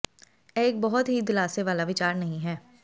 ਇਹ ਇੱਕ ਬਹੁਤ ਹੀ ਦਿਲਾਸੇ ਵਾਲਾ ਵਿਚਾਰ ਨਹੀਂ ਹੈ